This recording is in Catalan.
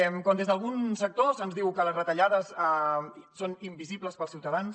quan des d’algun sector se’ns diu que les retallades són invisibles per als ciutadans